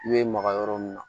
I bɛ maka yɔrɔ min na